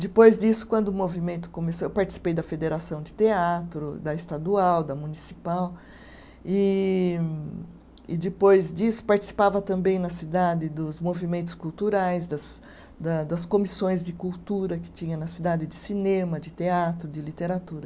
Depois disso, quando o movimento começou, eu participei da Federação de Teatro, da Estadual, da Municipal, e, e depois disso, participava também na cidade dos movimentos culturais, das da das comissões de cultura que tinha na cidade, de cinema, de teatro, de literatura.